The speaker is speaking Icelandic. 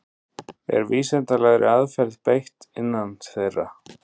Er vísindalegri aðferð beitt innan þeirra?